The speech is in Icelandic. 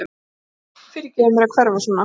Fyrirgefðu mér að hverfa svona.